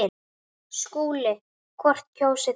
SKÚLI: Hvort kjósið þér?